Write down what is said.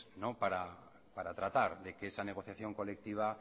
para tratar de que esa negociación colectiva